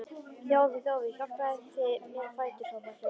Þjófur, þjófur, hjálpið þið mér á fætur, hrópar Fjóla.